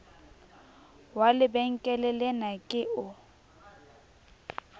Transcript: wa lebenkele lena ke o